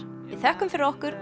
við þökkum fyrir okkur